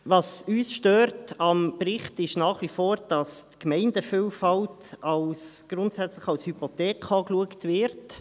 Uns stört am Bericht nach wie vor, dass die Gemeindevielfalt grundsätzlich als Hypothek betrachtet wird.